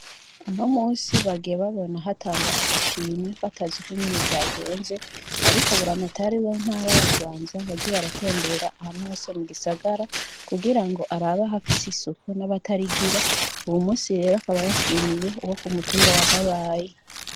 Uno musi bagiye babona hatangwa agashimwe bataz'ukungene vyagenze ariko buramatari w'intara ya Bubanza yagiy'aratembera ahantu hose mugisagara kugirango arabe ahafis'isuku nabatarigira, uyu munsi rero akaba yashimiye abo kumutumba wa bayaye.